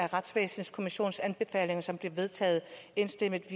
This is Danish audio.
retsvæsenskommission som blev vedtaget enstemmigt